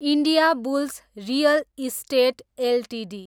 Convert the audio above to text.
Indiabulls real estate Ltd